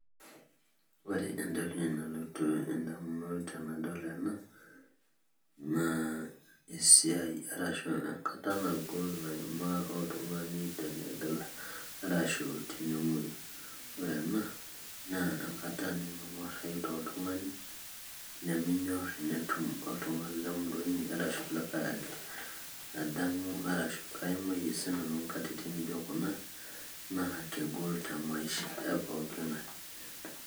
Ore entoki nalotu indamunot tenadol ena, naa esiai arashu enkata nagol naimaa oltung'ani tene arashu tenemoyu. Ore ena, enkata nemeng'uarrayu toltung'ani, niminyor enetum oltung'ani lemurua inyi arashu likae ake. Adamu arashu aimayie sinanu intokiting' naijo kuna, naa kegol temaisha epooki ng'ae.